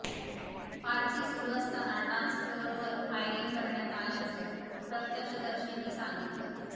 party सुरू असताना dance फ्लोअरवर फायरिंग करण्यात आल्याचं प्रत्यक्षदर्शींनी सांगितलं